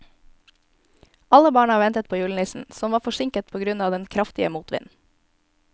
Alle barna ventet på julenissen, som var forsinket på grunn av den kraftige motvinden.